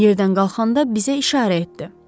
Yerdən qalxanda bizə işarə etdi.